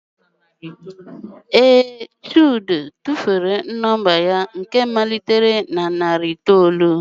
Ee, chude tụfuru nọmba ya nke malitere na narị itoolu.